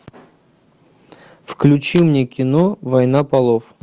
включи мне кино война полов